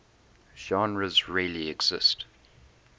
genres really exist